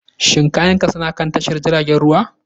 Shin kayanka suna kan tashar jiragen ruwa?